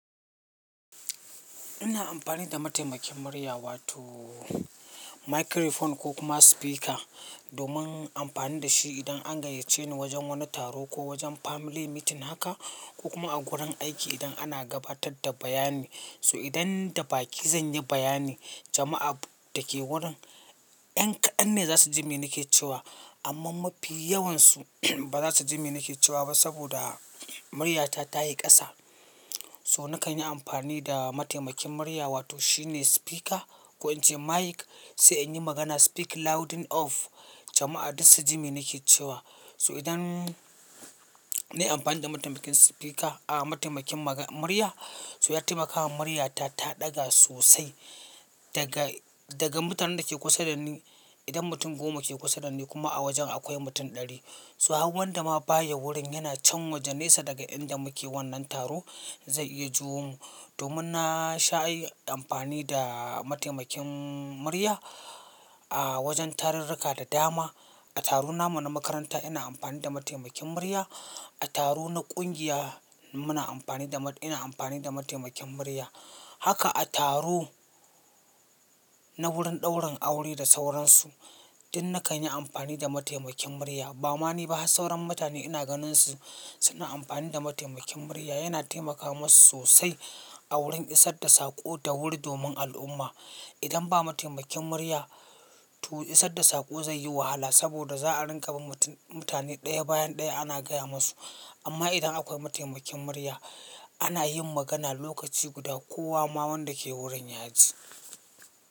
Ina amfani da mataimakin murya wato microphone ko kuma speaker domin amfani da shi idan an gayyace ni wajen wani taro ko wajen family meeting haka ko kuma a gurin aiki idan ana gabatar da bayani. So idan da baki zan yi bayani jama'a da ke wurin 'yan kaɗan ne za su ji mene ke cewa amma mafi yawansu ba za su ji mene ke cewa ba saboda muryata tayi ƙasa. So na kan yi amfani da mataimakin murya wato shine speaker ko in ce mic sai in yi magana speak louding off jama'a duk su ji meni ke cewa. So idan nayi amfani da mataimakin speaker, ah mataimakin ma murya so ya taimakawa muryata ta ɗaga sosai daga, daga mutanen da ke kusa da ni. Idan mutum goma ke kusa da ni kuma a wajen akwai mutum ɗari so hauwan da ma baya wurin yana can waje nesa daga inda muke wannan taro zai iya juwomu. Domin na sha ayi amfani da mataimakin murya a wajen tarurruka da dama. A taro namu na makaranta ina amfani da mataimakin murya, a taro na ƙungiya muna amfani da, ina amfani da mataimakin murya. Haka a taro na wurin ɗaurin aure da sauransu duk na kan yi amfani da mataimakin murya. Ba ma ni ba har sauran mutane ina ganin su suna amfani da mataimakin murya yana taimaka masu sosai a wurin isar da sako ta wuri domin al'umma. Idan ba mataimakin murya to isar da sako zai yi wahala saboda za a rinƙa bin mutum, mutane ɗaya bayan ɗaya ana gaya musu. Amma idan akwai mataimakin murya ana yin magana lokaci guda kowa ma wanda ke wurin ya ji.